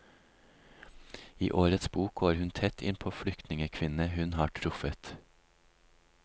I årets bok går hun tett inn på flyktningekvinnene hun har truffet.